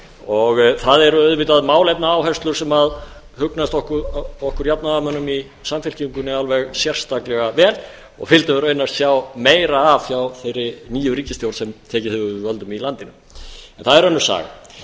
og það eru auðvitað málefnaáherslur sem hugnast okkur jafnaðarmönnum í samfylkingunni alveg sérstaklega vel og vildum við raunar sjá meira af hjá þeirri nýju ríkisstjórn sem tekið hefur við völdum í landinu en það er önnur saga